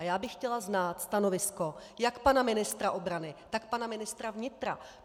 A já bych chtěla znát stanovisko jak pana ministra obrany, tak pana ministra vnitra.